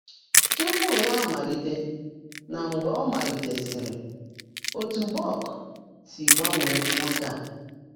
Túpú Yá Ámáliité nà Mgbe Ọ́ Máliitèsị́rị́ — Ótú bọ́ọ̀k Sí Gbánwé Nwòké Á